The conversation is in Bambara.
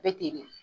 Bɛ ten de